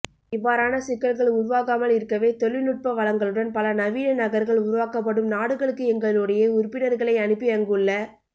இவ்வாறான சிக்கல்கள் உருவாகாமல் இருக்கவே தொழிநுட்ப வளங்களுடன் பல நவீன நகா்கள் உருவாக்கப்படும் நாடுகளுக்கு எங்களுடைய உறுப்பினா்களை அனுப்பி அங்குள்ள